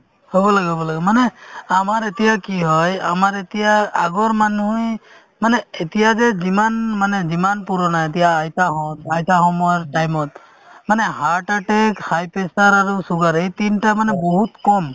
হ'ব লাগে হ'ব লাগে মানে আমাৰ এতিয়া কি হয় আমাৰ এতিয়া আগৰ মানুহে মানে এতিয়া যে যিমান মানে যিমান পুৰণা এতিয়া আইতাহঁত আইতা সময়ৰ time ত মানে heart attack, high pressure আৰু sugar এই তিনটা মানে বহুত কম